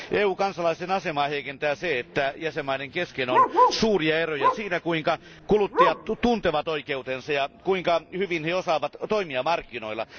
EU kansalaisten asemaa heikentää se, että jäsenvaltioiden kesken on suuria eroja siinä, kuinka kuluttajat tuntevat oikeutensa ja kuinka hyvin he osaavat toimia markkinoilla.